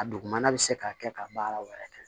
A dugumana bɛ se ka kɛ ka baara wɛrɛ kɛ